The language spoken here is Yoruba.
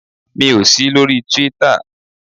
Mi ò sí lórí Twitter.